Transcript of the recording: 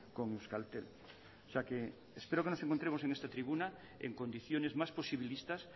con euskaltel o sea que espero que nos encontremos en esta tribuna en condiciones más posibilistas